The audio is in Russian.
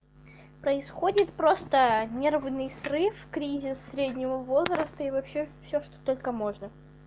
происходит просто нервный срыв кризис среднего возраста и вообще все что только можно